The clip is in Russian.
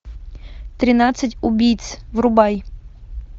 тринадцать убийц врубай